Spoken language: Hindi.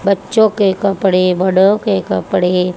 बच्चों के कपड़े बड़े के कपड़े--